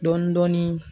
Dɔɔnin dɔɔnin